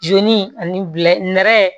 Jo ni nɛrɛ